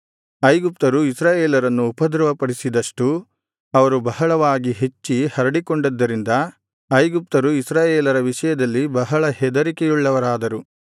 ಐಗುಪ್ತರು ಇಸ್ರಾಯೇಲರನ್ನು ಉಪದ್ರವಪಡಿಸಿದಷ್ಟೂ ಅವರು ಬಹಳವಾಗಿ ಹೆಚ್ಚಿ ಹರಡಿಕೊಂಡಿದ್ದರಿಂದ ಐಗುಪ್ತರು ಇಸ್ರಾಯೇಲರ ವಿಷಯದಲ್ಲಿ ಬಹಳ ಹೆದರಿಕೆಯುಳ್ಳವರಾದರು